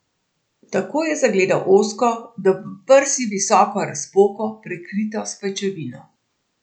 Takoj je zagledal ozko, do prsi visoko razpoko, prekrito s pajčevino.